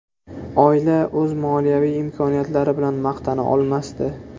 Oila o‘z moliyaviy imkoniyatlari bilan maqtana olmasdi.